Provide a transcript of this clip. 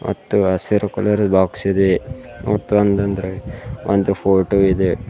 ಮತ್ತು ಹಸಿರು colour box ಇದೆ ಮತ್ತೊಂದ್ ಒಂದ್ ರೆಡ್ ಫೋಟೋ ಇದೆ.